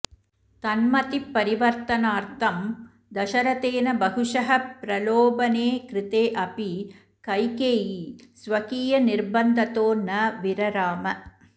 तन्मतिपरिवर्तनाऽर्थं दशरथेन बहुशः प्रलोभने कृतेऽपि कैकेयी स्वकीयनिर्बन्धतो न विरराम